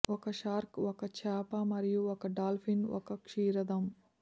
ఒక షార్క్ ఒక చేప మరియు ఒక డాల్ఫిన్ ఒక క్షీరదం